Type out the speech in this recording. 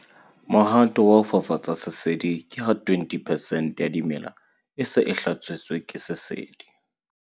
Mohato wa ho fafatsa sesedi ke ha 20 percent ya dimela e se e hlasetswe ke sesedi.